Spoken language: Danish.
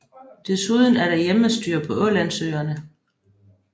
Desuden er der hjemmestyre på Ålandsøerne